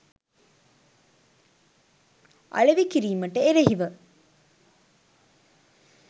අලෙවි කිරීමට එරෙහිව